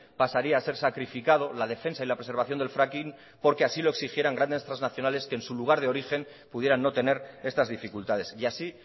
pasaría a ser sacrificado la defensa y la preservación del fracking porque así lo exigieran grandes transnacionales que en su lugar de origen pudieran no tener estas dificultades y así